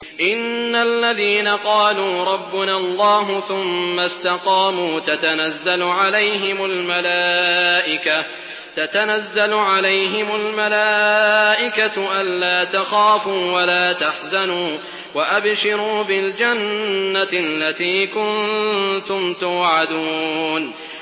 إِنَّ الَّذِينَ قَالُوا رَبُّنَا اللَّهُ ثُمَّ اسْتَقَامُوا تَتَنَزَّلُ عَلَيْهِمُ الْمَلَائِكَةُ أَلَّا تَخَافُوا وَلَا تَحْزَنُوا وَأَبْشِرُوا بِالْجَنَّةِ الَّتِي كُنتُمْ تُوعَدُونَ